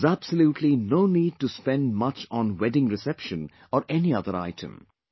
There is absolutely no need to spend much on wedding reception or any other item